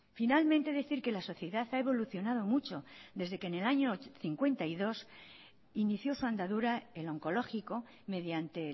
finalmente decir que la sociedad ha evolucionado mucho desde que en el año mil novecientos cincuenta y dos inició su andadura el oncológico mediante